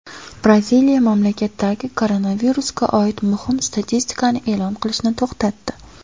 Braziliya mamlakatdagi koronavirusga oid muhim statistikani e’lon qilishni to‘xtatdi.